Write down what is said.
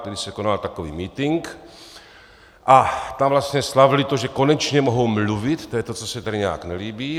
Tehdy se konal takový mítink a tam vlastně slavili to, že konečně mohou mluvit - to je to, co se tady nějak nelíbí.